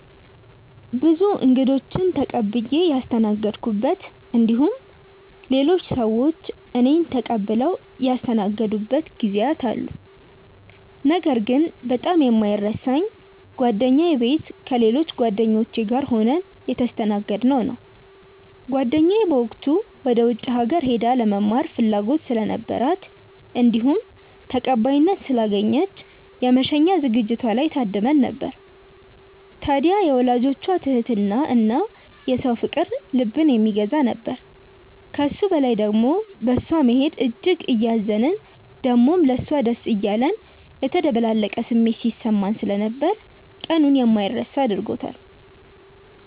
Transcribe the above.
ብዙ እንግዶችን ተቀብዬ ያስተናገድኩበት እንዲሁም ሌሎች ሰዎች እኔን ተቀብለው ያስተናገዱበት ጊዜያት አሉ። ነገር ግን በጣም የማይረሳኝ ጓደኛዬ ቤት ከሌሎች ጓደኞቼ ጋር ሆነን የተስተናገድነው ነው። ጓደኛዬ በወቅቱ ወደ ውጪ ሀገር ሄዳ ለመማር ፍላጎት ስለነበራት እንዲሁም ተቀባይነት ስላገኘች የመሸኛ ዝግጅቷ ላይ ታድመን ነበር። ታድያ የወላጆቿ ትህትና እና የሰው ፍቅር ልብን የሚገዛ ነበር። ከሱ በላይ ደሞ በእሷ መሄድ እጅግ እያዘንን ደሞም ለሷ ደስ እያለን የተደበላለቀ ስሜት ሲሰማን ስለነበር ቀኑን የማይረሳ አድርጎታል።